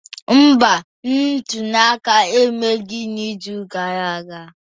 Mba, ntuli aka emeghị n'izu gara aga